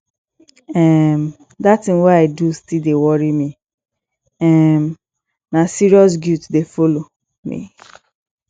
um dat tin wey i do still dey worry me um na serious guilt dey folo me